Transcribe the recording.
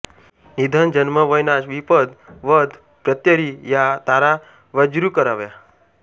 निधन जन्म वैनाश विपद वध प्रत्यरि या तारा वज्यृ कराव्या